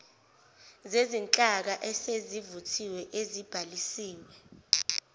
zezinhlaka esezivuthiwe ezibhalisiwe